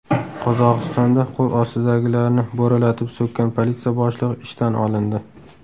Qozog‘istonda qo‘l ostidagilarni bo‘ralatib so‘kkan politsiya boshlig‘i ishdan olindi.